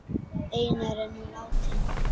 Einar er nú látinn.